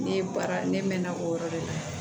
Ne baara ne mɛnna o yɔrɔ de la